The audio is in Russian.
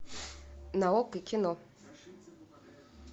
на окко кино